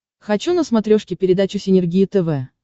хочу на смотрешке передачу синергия тв